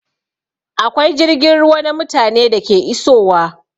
Akwai jirgin ruwa na mutane da ke isowa